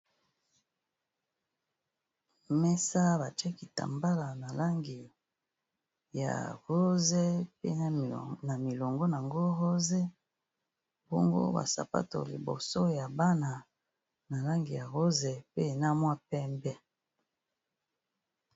Mesa batie kitambala na langi ya rose pe na milongo nango rose, bongo ba sapato liboso ya bana na langi ya rose pe na mua pembe.